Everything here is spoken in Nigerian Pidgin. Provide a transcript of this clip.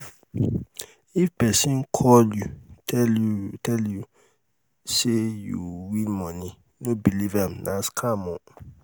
if pesin call you tell you tell you say you win money no believe nah scam oo